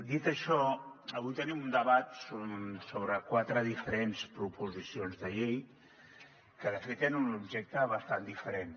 dit això avui tenim un debat sobre quatre diferents proposicions de llei que de fet tenen un objecte bastant diferent